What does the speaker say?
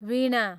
वीणा